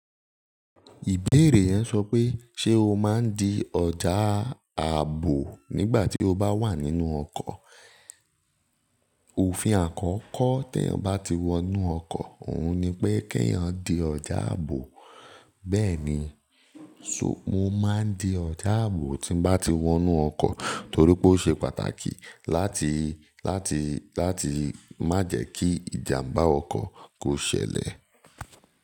Ìbéèrè yẹn sọ pé ṣe o máa ń di ọjà ààbò nígbà tí o bá wà nínú ọkọ̀? Òfin àkọ́kọ́ tí eeyan bá ti wọnú ọkọ̀, òun ni pé kí eeyan di ọjà ààbò. Bẹ́ẹ̀ni, so mo máa ń di ọjà ààbò tí n bá ti wọnú ọkọ̀ torí pé ó ṣe pàtàkì láti, láti, láti má jẹ́ kí ìjàǹbá ọkọ̀ kó ṣẹlẹ̀.